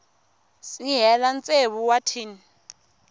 si hela tsevu wa tin